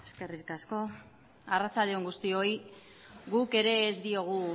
eskerrik asko arratsalde on guztioi guk ere ez diogu